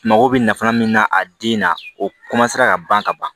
Mago bɛ nafa min na a den na o ka ban ka ban